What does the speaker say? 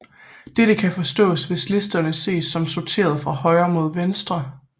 Dette kan forstås hvis listerne ses som sorteret fra venstre mod højre